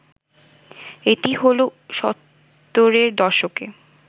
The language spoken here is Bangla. এটি হলো সত্তরের দশকে